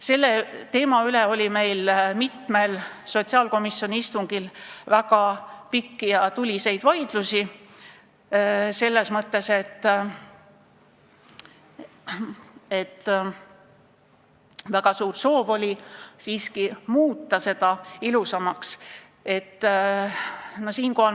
Selle teema üle oli meil mitmel sotsiaalkomisjoni istungil väga pikki ja tuliseid vaidlusi, sest väga suur soov oli siiski muuta seda väljendit ilusamaks.